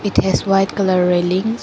It has white colour railings.